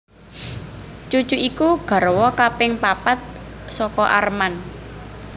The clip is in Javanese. Cucu iku garwa kaping papat saka Arman